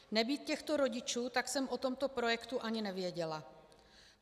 Nebýt těchto rodičů, tak jsem o tomto projektu ani nevěděla.